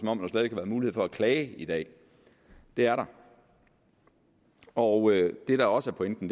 om der ikke er mulighed for at klage i dag det er der og det der også er pointen